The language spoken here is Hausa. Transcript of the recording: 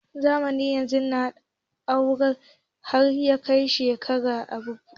Zamanin nan, ɗorewar aure har yakai shekara arba'in yana da wahala